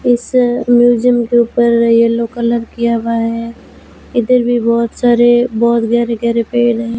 इस म्यूजियम के ऊपर येलो कलर किया हुआ है इधर भी बहुत सारे बहुत गहरे गहरे पेड़ हैं।